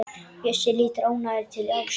Bjössi lítur ánægður til Ásu.